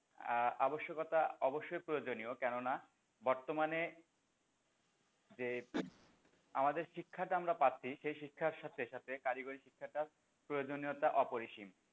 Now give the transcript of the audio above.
আহ আবশ্যকতা অবশ্যই প্রয়োজনীয় কেননা বর্তমানে যে আমাদের শিক্ষাটা আমরা বাদ দিই সেই শিক্ষার সাথে সাথে কারিগরি শিক্ষাটাও প্রয়োজনীয়তা অপরিসীম।